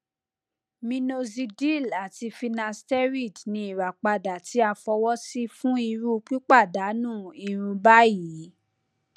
minoxidil ati finasteride ni irapada ti a fọwọsi fun iru pipadanu irun bayii